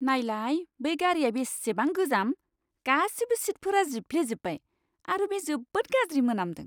नायलाय, बै गारिआ बेसेबां गोजाम! गासिबो सिटफोरा जिफ्लेजोबबाय आरो बे जोबोद गाज्रि मोनामदों।